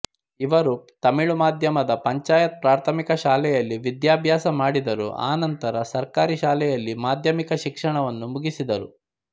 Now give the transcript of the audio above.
ಇವರು ತಮಿಳು ಮಾಧ್ಯಮದ ಪಂಚಾಯತ್ ಪ್ರಾಥಮಿಕ ಶಾಲೆಯಲ್ಲಿ ವಿಧಾಭ್ಯಾಸ ಮಾಡಿದರು ಅನಂತರ ಸರ್ಕಾರಿ ಶಾಲೆಯಲ್ಲಿ ಮಾಧ್ಯಮಿಕ ಶಿಕ್ಷಣವನ್ನು ಮುಗಿಸಿದರು